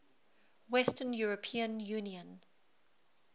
western european union